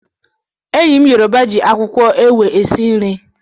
Enyi m yoruba ji akwukwo ewe esi nri.